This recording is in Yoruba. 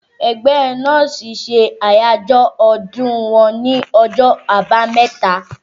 Ẹgbẹ́ nọ́ọ̀sì ṣe àyájọ́ ọdún wọn ní ọjọ́ àbámẹ́ta